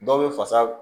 Dɔw bɛ fasa